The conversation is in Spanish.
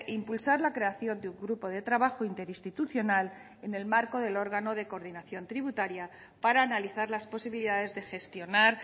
impulsar la creación de un grupo de trabajo interinstitucional en el marco del órgano de coordinación tributaria para analizar las posibilidades de gestionar